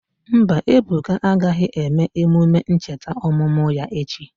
Mba, Ebuka agaghị eme emume ncheta ọmụmụ ya echi.